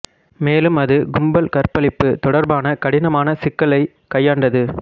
மேலும் அது கும்பல் கற்பழிப்பு தொடர்பான கடினமான சிக்கலைக் கையாண்டது